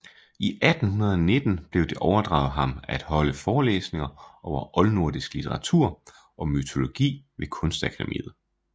I 1819 blev det overdraget ham at holde forelæsninger over oldnordisk litteratur og mytologi ved Kunstakademiet